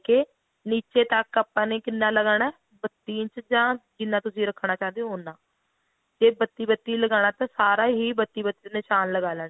ਕੇ ਨੀਚੇ ਤੱਕ ਆਪਾਂ ਕਿੰਨਾ ਲਗਾਨਾ ਬੱਤੀ ਇੰਚ ਜਾਂ ਜਿੰਨਾ ਤੁਸੀਂ ਰੱਖਣਾ ਚਾਹੁੰਦੇ ਹੋ ਉੰਨਾ ਜੇ ਬੱਤੀ ਬੱਤੀ ਲਗਾਨਾ ਤਾਂ ਸਾਰਾ ਹੀ ਬੱਤੀ ਬੱਤੀ ਨਿਸ਼ਾਨ ਲਗਾ ਲੈਣਾ